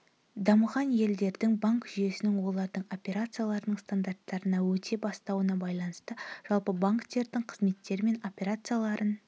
дамыған елдердің банк жүйесінің олардың операцияларының стандарттарына өте бастауына байланысты жалпы банктердің қызметтері мен операцияларын